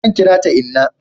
zan kira ta inna